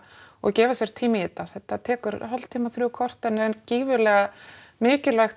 og gefa sér tíma í þetta þetta tekur hálftíma þrjú korter en er gífurlega mikilvægt